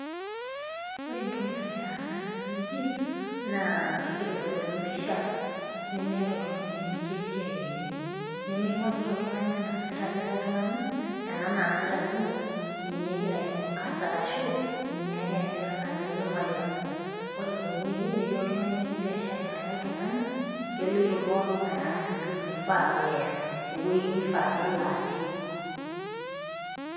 Ore entoki nagira aasa tenewueji, naa kegira aitodolu empisha lemeeta oltung'ani lemetii esiai enye. Niming'orita oltung'ani enaasita likae tung'ani, ena naasita ninye, ninye egira ai focus arashu, ninye ake eesita na nye ake ing'orita. Ore tenewueji metii oltung'ani otii biashara elikae tung'ani, keloito pooking'ae aas entoki naifaa pees. Tewoi nifaa pelo aasie.